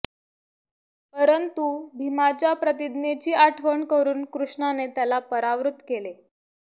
परंतु भीमाच्या प्रतिज्ञेची आठवण करून कृष्णाने त्याला परावृत केले